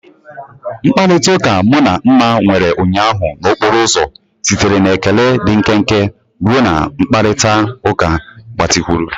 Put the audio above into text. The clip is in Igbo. Mkparịta ụka mụ na Nma nwere ụnyaahụ n'okporo ụzọ sitere na ekele dị nkenke ruo na mkparịta ụka gbatịkwuru.